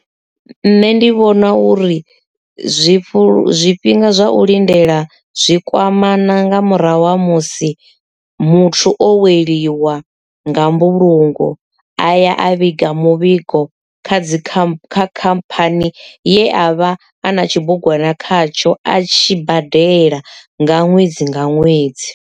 Nṋe ndi vhona uri zwifhu zwifhinga zwa u lindela zwi kwamana nga murahu ha musi muthu o weliwa nga mbulungo aya a vhiga muvhigo kha dzi kha khamphani ye a vha a na tshibugwana khatsho a tshi badela nga ṅwedzi nga ṅwedzi.